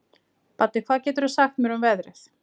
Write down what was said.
Baddi, hvað geturðu sagt mér um veðrið?